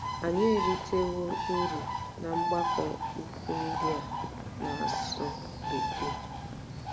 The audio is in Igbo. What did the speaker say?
Anyị eritewo uru ná mgbakọ ukwu ndị a na-asụ Bekee.